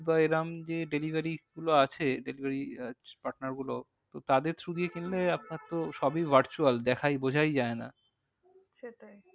বা এরম যে delivery গুলো আছে delivery আহ partner গুলো তো তাদের though দিয়ে কিনলে আপনার তো সবই virtual দেখাই বোঝাই যায় না। সেটাই